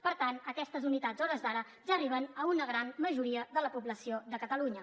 per tant aquestes unitats a hores d’ara ja arriben a una gran majoria de la població de catalunya